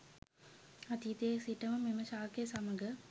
අතීතයේ සිටම මෙම ශාකය සමඟ